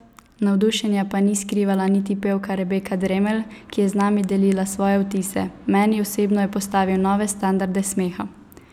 Navdušenja pa ni skrivala niti pevka Rebeka Dremelj, ki je z nami delila svoje vtise: ''Meni osebno je postavil nove standarde smeha!